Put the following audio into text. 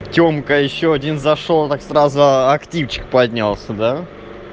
темка ещё один зашёл так сразу активчик поднялся да